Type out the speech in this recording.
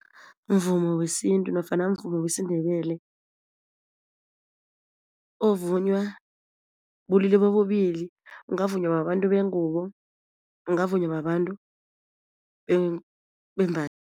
Mvumo wesintu nofana umvumo wesiNdebele ovunywa bulili bobubili ungavunywa babantu bengubo ungavunywa babantu